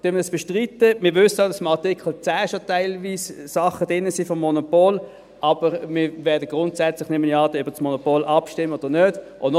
Wir wissen auch, dass schon im Artikel 10 teilweise Sachen betreffend das Monopol enthalten sind, aber wir werden dann grundsätzlich – nehme ich an – über das Monopol abstimmen oder nicht.